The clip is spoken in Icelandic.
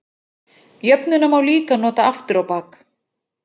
Jöfnuna má líka nota aftur á bak.